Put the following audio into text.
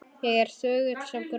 Ég er þögull sem gröfin.